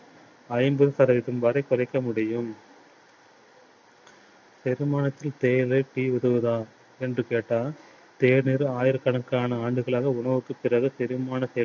ஐந்து சதவீதம் வரைக் குறைக்க முடியும். செரிமானத்தின் தேவை என்று கேட்டால் தேநீர் ஆயிரக்கணக்கான ஆண்டுகளாக உணவுக்குப் பிறகு செரிமானத்தை